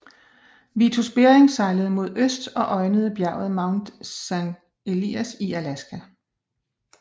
Vitus Bering sejlede mod øst og øjnede bjerget Mount Saint Elias i Alaska